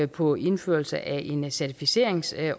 på indførelse af en certificeringsordning